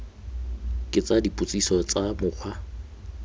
ke tsa dipotsiso tsa mokgwa